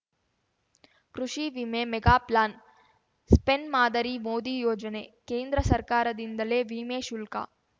ಕೃಷಿ ವಿಮೆ mega plan Spain ಮಾದರಿ ಮೋದಿ ಯೋಜನೆ ಕೇಂದ್ರ ಸರ್ಕಾರದಿಂದಲೇ ವಿಮೆ ಶುಲ್ಕ